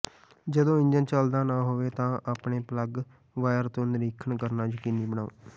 ਜਦੋਂ ਇੰਜਣ ਚੱਲਦਾ ਨਾ ਹੋਵੇ ਤਾਂ ਆਪਣੇ ਪਲੱਗ ਵਾਇਰ ਤੋਂ ਨਿਰੀਖਣ ਕਰਨਾ ਯਕੀਨੀ ਬਣਾਓ